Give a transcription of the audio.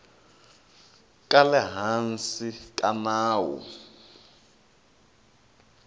ka le hansi ka nawu